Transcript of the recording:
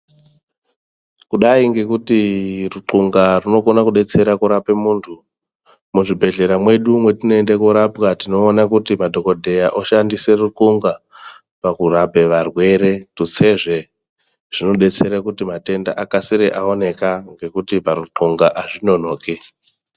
Kudayi ngekuti rutlhunga runokone kudetsera muntu, muzvibhedhlera mwedu mwatinoenda korapwa tinoone kuti madhokodheya oshandise rutlhunga mukurape varwere, tutsezve zvobetsere kuti varwere vakase vaonekwa nokuti parutlhunga azvinonoki.